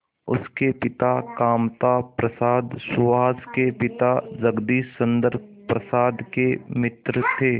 उसके पिता कामता प्रसाद सुहास के पिता जगदीश चंद्र प्रसाद के मित्र थे